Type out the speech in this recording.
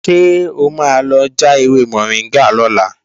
Ṣé o máa lọ já ewé mọ̀ríngà lọ́la?